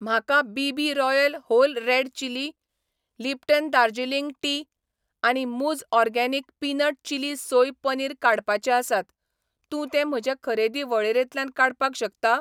म्हाका BB. Royal whole red chilli, Lipton Darjeeling tea आनी मूझ organic peanut chilli soy paneer काडपाचे आसात, तूं ते म्हजे खरेदी वळेरेंतल्यान काडपाक शकता?